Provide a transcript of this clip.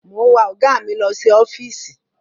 Mò ń wa ọ̀gá mi lọ sí ọ́fíìsì.